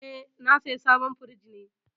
Eh, na saya sabon firinj ne.